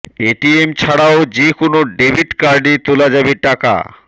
ATM ছাড়াও যে কোনও ডেবিট কার্ডে তোলা যাবে টাকা